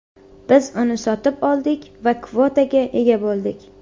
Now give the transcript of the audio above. Biz uni sotib oldik va kvotaga ega bo‘ldik.